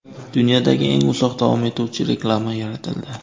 Dunyodagi eng uzoq davom etuvchi reklama yaratildi .